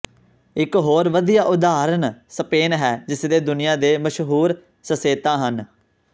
ਇਕ ਹੋਰ ਵਧੀਆ ਉਦਾਹਰਨ ਸਪੇਨ ਹੈ ਜਿਸਦੇ ਦੁਨੀਆ ਦੇ ਮਸ਼ਹੂਰ ਸਿਸੇਤਾ ਹਨ